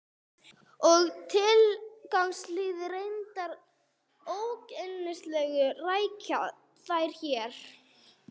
og er tilgangslítið og reyndar ógerningur að rekja þær hér.